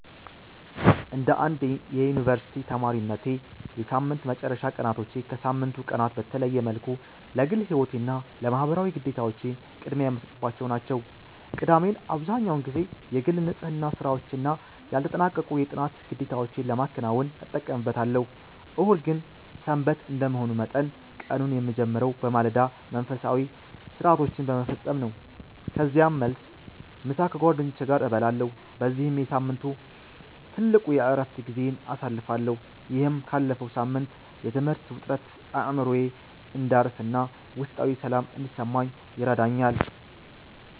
እንደ አንድ የዩኒቨርሲቲ ተማሪነቴ፣ የሳምንት መጨረሻ ቀናቶቼ ከሳምንቱ ቀናት በተለየ መልኩ ለግል ሕይወቴና ለማኅበራዊ ግዴታዎቼ ቅድሚያ የምሰጥባቸው ናቸው። ቅዳሜን አብዛህኛውን ጊዜ የግል ንጽሕና ሥራዎችና ያልተጠናቀቁ የጥናት ግዴታዎቼን ለማከናወን እጠቀምበታለሁ። እሁድ ግን "ሰንበት" እንደመሆኑ መጠን፣ ቀኑን የምጀምረው በማለዳ መንፈሳዊ ሥርዓቶችን በመፈጸም ነው። ከዚያም መልስ፣ ምሳ ከጓደኞቼ ጋር እበላለሁ በዚህም የሳምንቱ ትልቁ የዕረፍት ጊዜዬን አሳልፋለሁ። ይህም ካለፈው ሳምንት የትምህርት ውጥረት አእምሮዬ እንዲያርፍና ውስጣዊ ሰላም እንዲሰማኝ ይረዳኛል።